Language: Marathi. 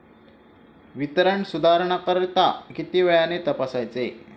वितरण सुधारणांकरिता किती वेळाने तपासायचे